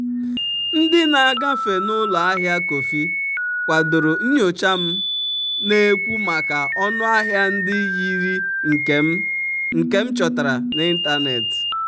ndị na-agafe n'ụlọ ahịa kọfị kwadoro nyocha m na-ekwu maka ọnụ ahịa ndị yiri nke m um chọtara n'ịntanetị.